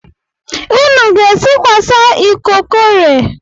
Nnu ga-esikwasa ikokore?